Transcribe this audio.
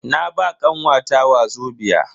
Na ba kanwata wazobia.